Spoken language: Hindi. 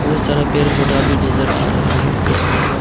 बहुत सारा पेड़ पौधे में नजर आ रहा है इस तस्वीर में।